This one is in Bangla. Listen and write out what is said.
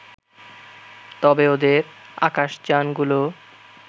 তবে ওদের আকাশযানগুলো